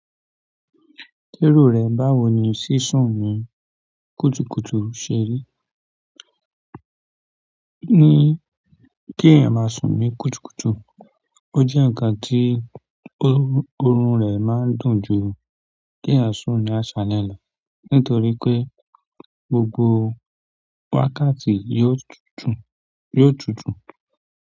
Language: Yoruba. Lérò rẹ báwo ni sísún ní kùtùkùtù ṣe rí? Ní kí èèyàn máa sún ní kùtùkùtù, ó jẹ́ ǹkan tí oorun rẹ̀ máa ń dùn ju kí èèyàn sún ní àṣálẹ́ lọ nítorí pé gbogbo wákàtí yóò tútù.